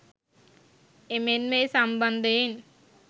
එමෙන්ම ඒ සම්බන්ධයෙන්